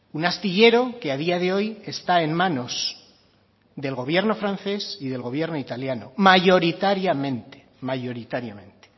un astillero que a día de hoy está en manos del gobierno francés y del gobierno italiano mayoritariamente mayoritariamente